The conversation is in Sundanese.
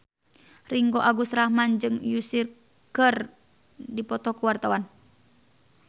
Ringgo Agus Rahman jeung Usher keur dipoto ku wartawan